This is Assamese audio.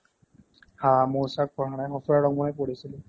হা মৌচক পঢ়া নাই সঁফুৰা ৰংমন মইয়ে পঢ়িছিলো